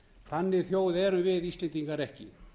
þannig þjóð erum við íslendingar ekki